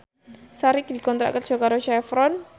Sari dikontrak kerja karo Chevron